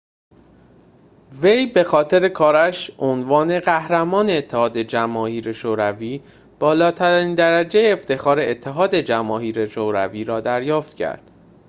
وی بخاطر کارش عنوان قهرمان اتحاد جماهیر شوروی بالاترین درجه افتخار اتحاد جماهیر شوروی را دریافت کرد